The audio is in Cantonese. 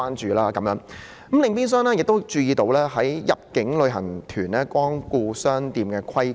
此外，我亦注意到有關入境旅行團光顧商店的規管。